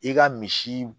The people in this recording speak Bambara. I ka misi